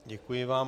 Děkuji vám.